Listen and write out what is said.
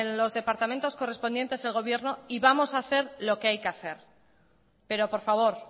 los departamentos correspondientes del gobierno y vamos a hacer lo que hay que hacer pero por favor